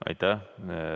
Aitäh!